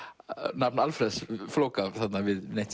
nafn Alfreðs flóka við neitt